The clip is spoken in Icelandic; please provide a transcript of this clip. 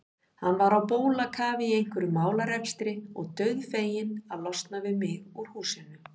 Hann var á bólakafi í einhverjum málarekstri og dauðfeginn að losna við mig úr húsinu.